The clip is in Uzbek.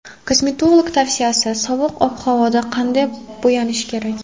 Kosmetolog tavsiyasi: Sovuq ob-havoda qanday bo‘yanish kerak?.